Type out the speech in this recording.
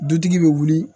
Dutigi bɛ wuli